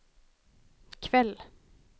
kväll